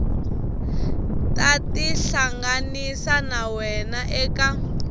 ta tihlanganisa na wena eka